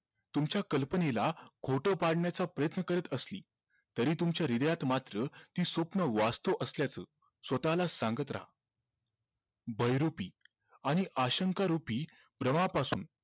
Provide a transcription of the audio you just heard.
तुमच्या कल्पनेला खोट पाडण्याचा प्रयत्न करत असली तरीही तुमच्या हृदयात मात्र ती स्वप्न वास्थव असल्याचं स्वतःला सांगत राहा बहिरूपी आणि अशंखारूपी प्रवाहापासून